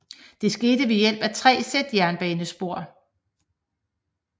Det skete ved hjælp af tre sæt jernbanespor